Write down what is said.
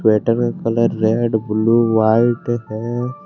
का colour red blue white है।